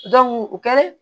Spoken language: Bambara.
o kɛ